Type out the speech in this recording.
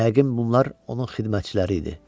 Yəqin bunlar onun xidmətçiləri idi.